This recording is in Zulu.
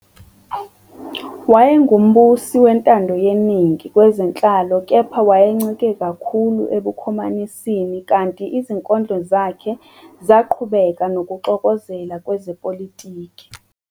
Wayengumbusi wentando yeningi kwezenhlalo kepha wayencike kakhulu ebukhomanisini kanti izinkondlo zakhe zaqhubeka nokuxokozela kwezepolitiki.